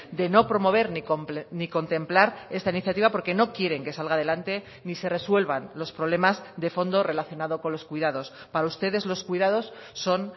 de no promover ni contemplar esta iniciativa porque no quieren que salga adelante ni se resuelvan los problemas de fondo relacionado con los cuidados para ustedes los cuidados son